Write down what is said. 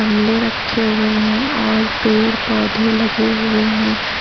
गमले रखे हुए हैं और पेड़ पौधे लगे हुए हैं।